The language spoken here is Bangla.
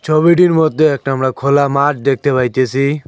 ছবিটির মধ্যে একটা আমরা খোলা মাঠ দেখতে পাইতেসি।